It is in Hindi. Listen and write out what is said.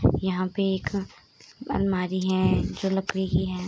यहाँ पे एक अलमारी अलमीरा है जो लकड़ी की है।